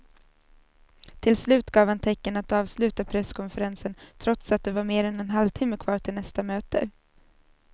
Till slut gav han tecken att avsluta presskonferensen trots att det var mer än en halvtimme kvar till nästa möte.